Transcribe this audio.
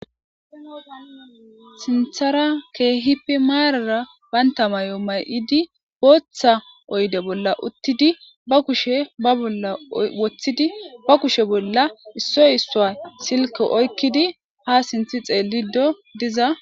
sinthara keehipi maarara baynta mayo may7idi booththa oyde bolla uttidi ba kushe ba bolla woththidi ba kushe bolla issoy issowa silke oykkidi ha sinthi xeelido diza